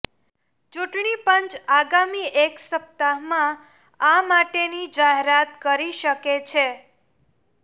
ચૂંટણી પંચ આગામી એક સપ્તાહમાં આ માટેની જાહેરાત કરી શકે છે